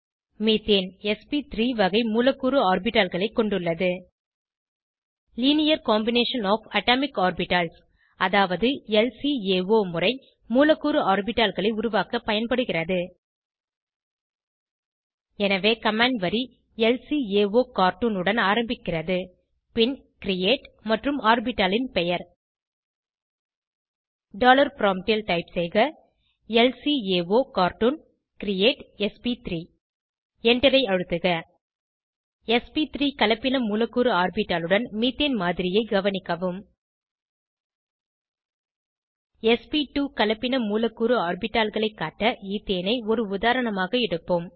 methane s p three வகை மூலக்கூறு ஆர்பிட்டால்களை கொண்டுள்ளது linear combination of atomic orbitals அதாவது ல்காவோ முறை மூலக்கூறு ஆர்பிட்டால்களை உருவாக்க பயன்படுகிறது எனவே கமாண்ட் வரி ல்காகார்ட்டூன் உடன் ஆரம்பிக்கிறது பின் கிரியேட் மற்றும் ஆர்பிட்டாலின் பெயர் டாலர் ப்ராம்ப்ட் ல் டைப் செய்க ல்காகார்ட்டூன் கிரியேட் ஸ்ப்3 Enter ஐ அழுத்துக ஸ்ப்3 கலப்பின மூலக்கூறு ஆர்பிட்டாலுடன் மீத்தேன் மாதிரியை கவனிக்கவும் ஸ்ப்2 கலப்பின மூலக்கூறு ஆர்பிட்டால்களை காட்ட ஈத்தேனை ஒரு உதாரணமாக எடுப்போம்